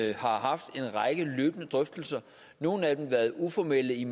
jeg har haft en række løbende drøftelser nogle af dem har været uformelle i